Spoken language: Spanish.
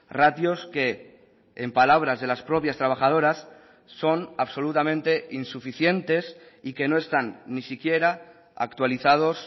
ratios que en palabras de las propias trabajadoras son absolutamente insuficientes y que no están ni siquiera actualizados